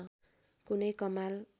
कुनै कमाल